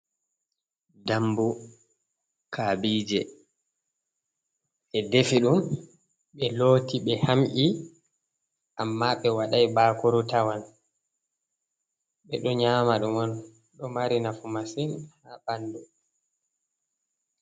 Ɗambu kabije e ɗefe ɗum be loti be ham’i amma be wadai ɓakuru tawan be do nyama ɗum on do mari nafu masin ha ɓandu.